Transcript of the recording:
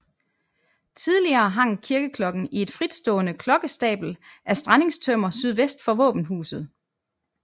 Tidligere hang kirkeklokken i et fritstående klokkestabel af strandingstømmer sydvest for våbenhuset